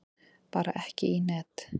Bara ekki í net.